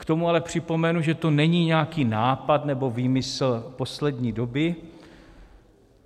K tomu ale připomenu, že to není nějaký nápad nebo výmysl poslední doby.